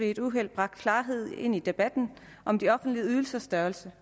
et uheld bragte klarhed ind i debatten om de offentlige ydelsers størrelse